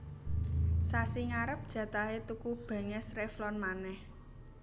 Sasi ngarep jatahe tuku benges Revlon maneh